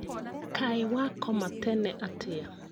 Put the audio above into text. Kaĩ wakoma tene atĩa?